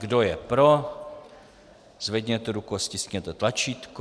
Kdo je pro, zvedněte ruku a stiskněte tlačítko.